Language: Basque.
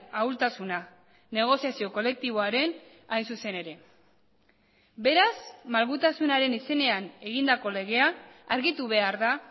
ahultasuna negoziazio kolektiboarena hain zuzen ere beraz malgutasunaren izenean egindako legea argitu behar da